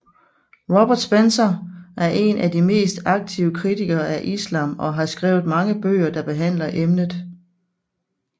Robert Spencer er en af de mest aktive kritikere af islam og har skrevet mange bøger der behandler emnet